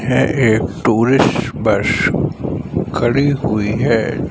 है एक tourist bus खड़ी हुई है।